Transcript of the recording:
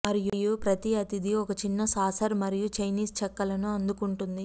మరియు ప్రతి అతిథి ఒక చిన్న సాసర్ మరియు చైనీస్ చెక్కలను అందుకుంటుంది